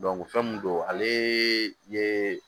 fɛn min don ale ye